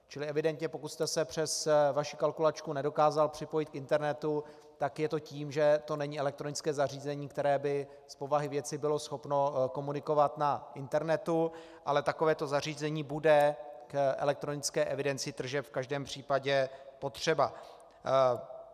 Čili evidentně pokud jste se přes vaši kalkulačku nedokázal připojit k internetu, tak je to tím, že to není elektronické zařízení, které by z povahy věci bylo schopno komunikovat na internetu, ale takovéto zařízení bude k elektronické evidenci tržeb v každém případě potřeba.